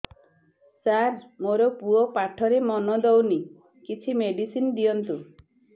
ସାର ମୋର ପୁଅ ପାଠରେ ମନ ଦଉନି କିଛି ମେଡିସିନ ଦିଅନ୍ତୁ